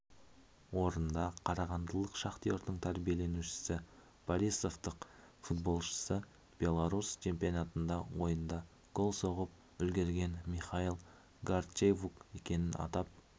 орында қарағандылық шахтердің тәрбиеленушісі борисовтық футболшысы беларусь чемпионатында ойында гол соғып үлгерген михаил гордейчук екенін атап